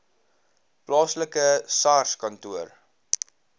plaaslike sars kantoor